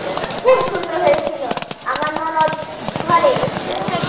খুব সুন্দর হয়েছিল, আমার ননদ ঘরে এসেছে